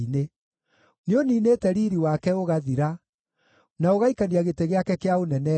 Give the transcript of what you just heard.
Nĩũniinĩte riiri wake ũgathira, na ũgaikania gĩtĩ gĩake kĩa ũnene thĩ.